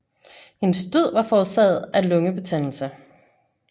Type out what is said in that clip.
Hendes død var forårsaget af lungebetændelse